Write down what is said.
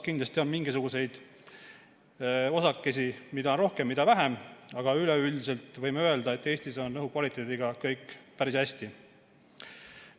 Kindlasti on mingisuguseid osakesi, mida on rohkem ja mida vähem, aga üleüldiselt võime öelda, et Eestis on õhu kvaliteediga kõik päris hästi.